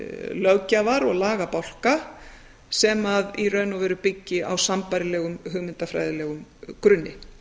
löggjafar og lagabálka sem í raun og veru byggi á sambærilegum hugmyndafræðilegum grunni